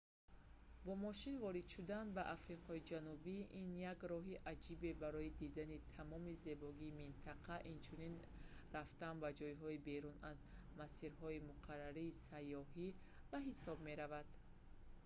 бо мошин ворид шудан ба африқои ҷанубӣ ин як роҳи аҷибе барои дидани тамоми зебогии минтақа инчунин рафтан ба ҷойҳои берун аз масирҳои муқаррарии сайёҳӣ ба ҳисоб меравад